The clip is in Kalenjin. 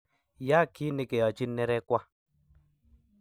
Ya kiy ne kiyachini nerekwa